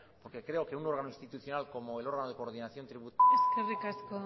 porque creo que un órgano institucional como el órgano de coordinación eskerrik asko